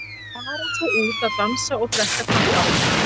Fara svo út að dansa og drekka kampavín.